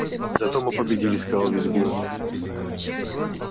зато мы победили сказал визгун